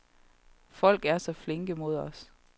Folk er så flinke mod os.